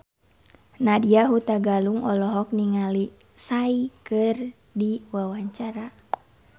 Nadya Hutagalung olohok ningali Psy keur diwawancara